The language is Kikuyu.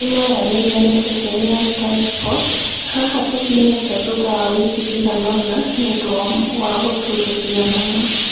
Nĩmaranĩirie na Ceceni ya Sky sports "haha tũkinyĩte thutha wa wiki ciganona, nĩundu wa gũturuthia nama"